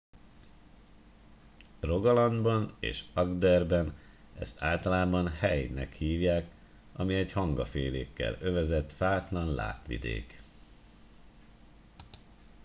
rogalandban és agderben ezt általában hei”-nek hívják ami egy hangafélékkel övezett fátlan lápvidék